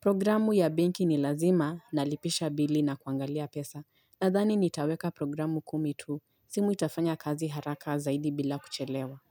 Programu ya benki ni lazima na lipisha bili na kuangalia pesa Nathani nitaweka programu kumi tu simu itafanya kazi haraka zaidi bila kuchelewa.